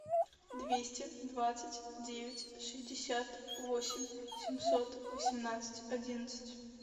двести двадцать девять шестьдесят восемь семьсот восемнадцать одиннадцать